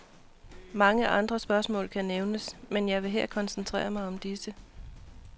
Mange andre spørgsmål kan nævnes, men jeg vil her koncentrere mig om disse.